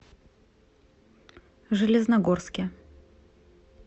железногорске